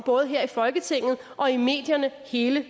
både her i folketinget og i medierne hele